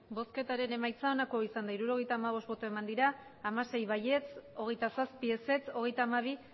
emandako botoak hirurogeita hamabost bai hamasei ez hogeita zazpi abstentzioak hogeita hamabi